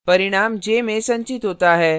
परिणाम j में संचित होता है